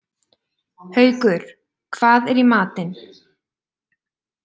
Haukur, hvað er í matinn?